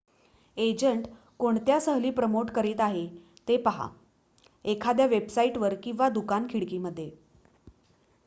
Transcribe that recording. agent कोणत्या सहली promote करीत आहे ते पहा एखाद्या वेबसाईट वर किंवा दुकान खिडकी मध्ये